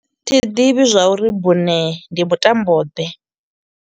Thi ḓivhi zwa uri bune ndi mutambo ḓe.